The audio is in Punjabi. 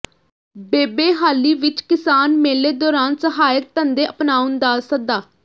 ਬੱਬੇਹਾਲੀ ਵਿੱਚ ਕਿਸਾਨ ਮੇਲੇ ਦੌਰਾਨ ਸਹਾਇਕ ਧੰਦੇ ਅਪਣਾਉਣ ਦਾ ਸੱਦਾ